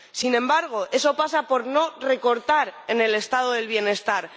Sin embargo, eso pasa por no recortar en el Estado del bienestar.